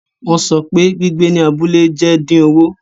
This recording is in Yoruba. Wọn sọ pe gbigbe ni abule jẹ din owo